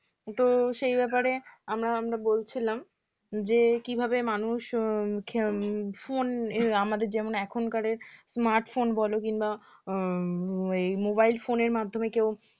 তো সেই ব্যাপারে আমরা আমরা বলছিলাম যে কিভাবে মানুষ উম Phone আমাদের যেমন এখনকার smartphone বলো কিংবা উম এই mobile phone এর মাধ্যমে কেউ